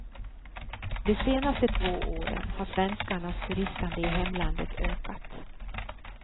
De senaste två åren har svenskarnas turistande i hemlandet ökat.